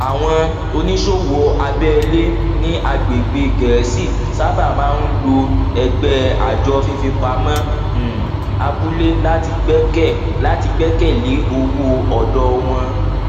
àwọn oníṣòwò abẹlé ní agbègbè gẹẹsi sábà máa ń lo ẹgbẹ àjọ fífipamọ um abúlé láti gbẹkẹ láti gbẹkẹ lé owó ọdọ wọn